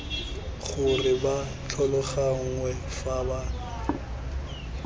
gore ba tlhaloganngwe fa ba